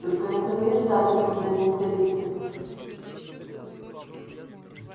только этого и ждали фундаменталисты